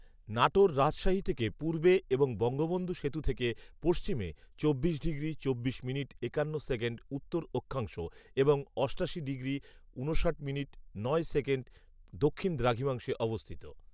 নাটোর রাজশাহী থেকে পূর্বে এবং বঙ্গবন্ধু সেতু থেকে পশ্চিমে, চব্বিশ ডিগ্রি চব্বিশ মিনিট একান্ন সেকেন্ড উত্তর অক্ষাংশ এবং অষ্টাশি ডিগ্রি ঊনষাট মিনিট নয় সেকেন্ড দক্ষিণ দ্রাঘিমাংশে অবস্থিত